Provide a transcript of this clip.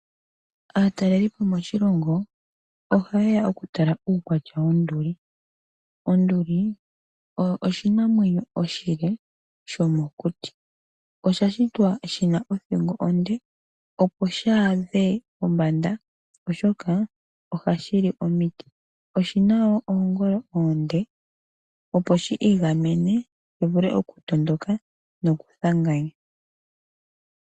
Aatalelipo moshilongo ohaye ya okutala uukwatya wonduli. Onduli oyo oshinamwenyo oshile shomokuti. Oshashitwa shina othingo onde opo shi adhe pombanda oshoka ohashi li omiti. Oshina woo oongolo oonde opo shiigamene shi vule okutondoka noku thanganya.